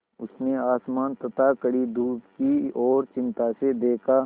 उसने आसमान तथा कड़ी धूप की ओर चिंता से देखा